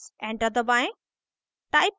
enter दबाएं